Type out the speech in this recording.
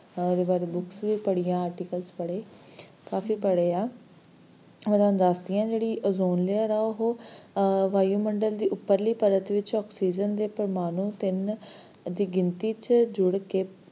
ਕੁਛ ਓਦੇ ਵਾਰੇ books ਵੀ ਪੜ੍ਹੀਆਂ, articles ਪੜ੍ਹੇ, ਕਾਫੀ ਪੜ੍ਹਿਆ ਹੁਣ ਮੈਂ ਤੁਹਾਨੂੰ ਦਸਦੀ ਆ, ਜਿਹੜੀ ozone layer ਆ ਉਹ ਵਾਯੂਮੰਡਲ ਦੀ ਉੱਪਰਲੀ ਪਰਤ ਚ, oxygen ਦੇ ਪ੍ਰਮਾਣੂ ਤਿੰਨ ਦੀ ਗਿਣਤੀ ਚ ਜੁੜ ਕੇ,